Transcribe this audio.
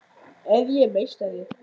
Er ég meistari?